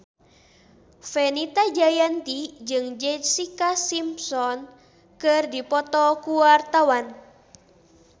Fenita Jayanti jeung Jessica Simpson keur dipoto ku wartawan